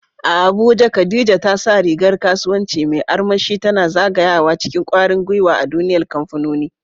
A Abuja, Khadija ta sa rigar kasuwanci mai armashi, tana zagayawa cikin kwarin gwiwa a duniyar kamfanoni.